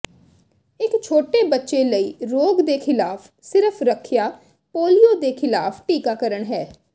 ਇਕ ਛੋਟੇ ਬੱਚੇ ਲਈ ਰੋਗ ਦੇ ਖਿਲਾਫ ਸਿਰਫ ਰੱਖਿਆ ਪੋਲੀਓ ਦੇ ਖਿਲਾਫ ਟੀਕਾਕਰਣ ਹੈ